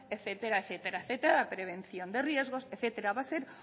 etcétera prevención de riesgos etcétera va a ser